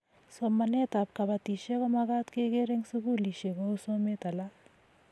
Somanet ab kabatishet ko magat keger eng sukulishek kou somet alak